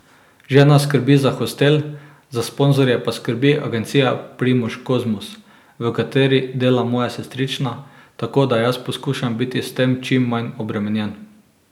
Žena skrbi za hostel, za sponzorje pa skrbi agencija Primož Kozmus, v kateri dela moja sestrična, tako da jaz poskušam biti s tem čim manj obremenjen.